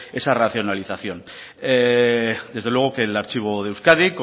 esa racionalización desde luego que el archivo de euskadi